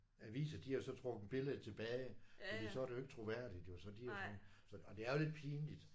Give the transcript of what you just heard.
Aviser de har så trukket billedet tilbage fordi så er det jo ikke troværdigt jo så de så og det er jo lidt pinligt